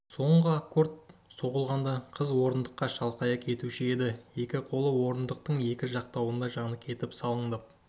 соңғы аккорд соғылғанда қыз орындыққа шалқалай кетуші еді екі қолы орындықтың екі жақтауында жаны кетіп салаңдап